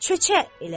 çöçə elədi.